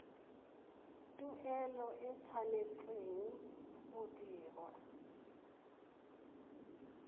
tuelo e tshwanetse go dirwa